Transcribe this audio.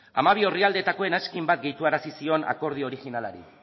hamabi orrialdeetako eranskin bat gehituarazi zion akordio orijinalari